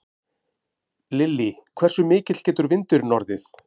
Lillý: Hversu mikill getur vindurinn orðið?